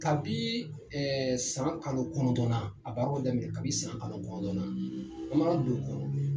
Kabi san kalo kɔnɔndɔn na a baaraw bɛ daminɛ kabi san kalo kɔnɔndɔn na a' mana don o kɔnɔ